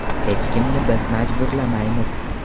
Hech kimni biz majburlamaymiz.